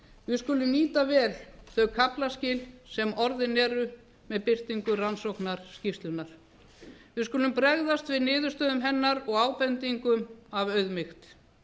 við skulum nýta vel þau kaflaskil sem orðin eru með birtingu rannsóknarskýrslunnar við skulum bregðast við niðurstöðum hennar og ábendingum af auðmýkt